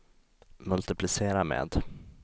multiplicera med